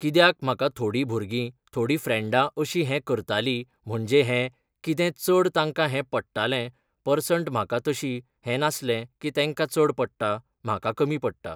कित्याक म्हाका थोडीं भुरगीं, थोडीं फ्रँडां अशीं हें करतालीं म्हणजे हें, कितें चड तांकां हें पडटालें, पर्संट म्हाका तशी हें नासलें की तेंकां चड पडटा, म्हाका कमी पडटा.